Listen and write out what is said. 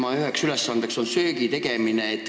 Tema üheks ülesandeks on söögitegemine.